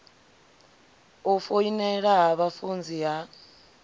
u foinela ha vhafunzi ha